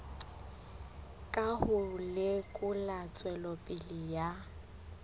ka ho lekola tswelopele ya